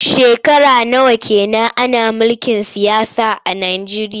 Shekara nawa ke nan ana mulkin siyasa a Nijeriya?